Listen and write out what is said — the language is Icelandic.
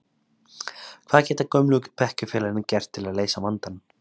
Hvað geta gömlu bekkjarfélagarnir gert til að leysa vandann?